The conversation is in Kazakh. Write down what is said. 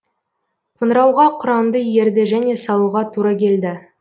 қоңырауға құранды ерді және салуға тура келді